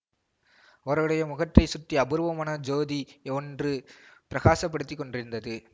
அவருடைய முகத்தைச் சுற்றி அபூர்வமான ஜோதி ஒன்று பிரகாசப்படுத்திக் கொண்டிருந்தது